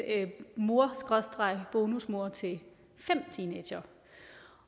mor skråstreg bonusmor til fem teenagere